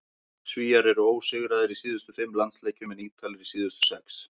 Svíar eru ósigraðir í síðustu fimm landsleikjum en Ítalir í síðustu sex.